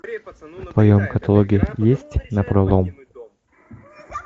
в твоем каталоге есть напролом